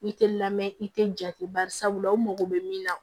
I tɛ lamɛn i tɛ jate barisabula u mago bɛ min na